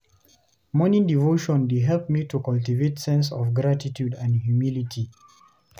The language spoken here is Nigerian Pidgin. Morning devotion dey help me to cultivate sense of gratitude and humility.